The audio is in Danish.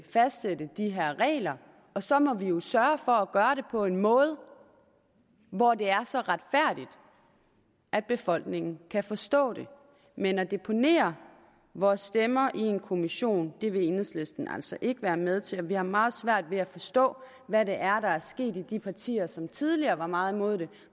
fastsætte de her regler og så må vi jo sørge for at gøre det på en måde hvor det er så retfærdigt at befolkningen kan forstå det men at deponere vores stemmer i en kommission det vil enhedslisten altså ikke være med til og vi har meget svært ved at forstå hvad det er der er sket i de partier som tidligere var meget imod det